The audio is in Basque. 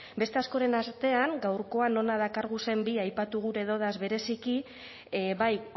beste askoren artean gaurkoan hona dakarguzen bi aipatu gure dodaz bereziki bai